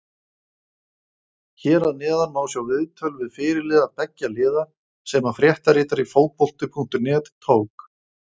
Hér að neðan má sjá viðtöl við fyrirliða beggja liða sem að fréttaritari Fótbolti.net tók.